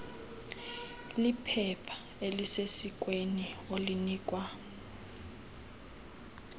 liphepha elisesikweni olinikwa